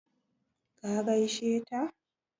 Ka gaishe ta?